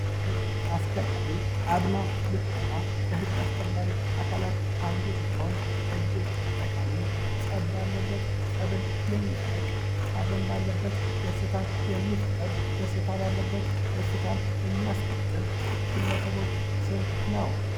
ህግ አስከባሪ አድማ ብተና ከሕግ አስከባሪ አካላት አንዱ ሲሆን ፤ እጅግ ጠቃሚ ፀብ ባለበት ፀብን የሚያርቅ፣ ሐዘን ባለበት ደስታ የሚፈጠር፣ ደስታ ባለበት ደስታን የሚያስቀጥል የግለሰቦች ስም ነው።